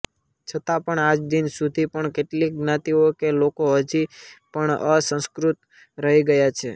છતા પણ આજદિન સુધી પણ કેટલીક જ્ઞાતિઓ કે લોકો હજી પણ અસંસ્કૃત રહી ગયા છે